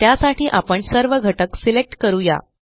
त्यासाठी आपण सर्व घटक सिलेक्ट करू या